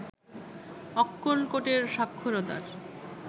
অক্কলকোটের সাক্ষরতার